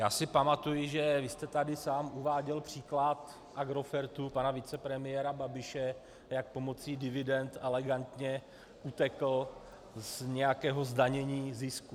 Já si pamatuji, že vy jste tady sám uváděl příklad Agrofertu pana vicepremiéra Babiše, jak pomocí dividend elegantně utekl z nějakého zdanění zisku.